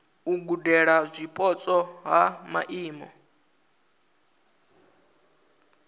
u gudela zwipotso ha maimo